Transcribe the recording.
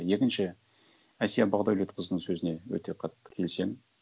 екінші әсия бақдәулетқызының сөзіне өте қатты келісемін